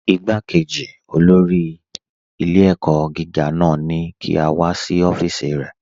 Ìgbàkéjì kànsílà náà ni kí a wà sí ọfíìsì rẹ.